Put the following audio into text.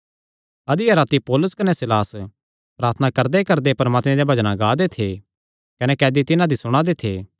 अधिया राती पौलुस कने सीलास प्रार्थना करदेकरदे परमात्मे देयां भजना गा दे थे कने कैदी तिन्हां दी सुणा दे थे